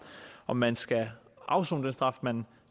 om man skal afsone den straf man